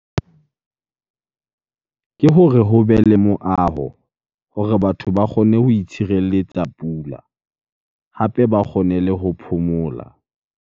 Ke hore hobe le moaho hore batho ba kgone ho itshireletsa pula, hape ba kgone le ho phomola.